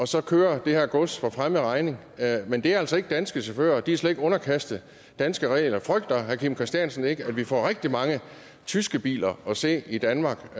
så kører det her gods for fremmed regning men det er altså ikke danske chauffører og de er slet ikke underkastet danske regler frygter herre kim christiansen ikke at vi får rigtig mange tyske biler at se i danmark